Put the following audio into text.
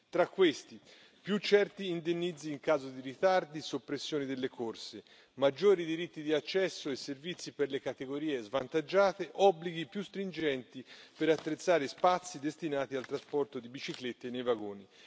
Tra questi, più certi indennizzi in caso di ritardi e soppressioni delle corse, maggiori diritti di accesso ai servizi per le categorie svantaggiate e obblighi più stringenti per attrezzare spazi destinati al trasporto di biciclette nei vagoni.